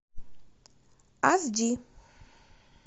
аш ди